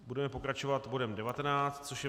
Budeme pokračovat bodem 19, což je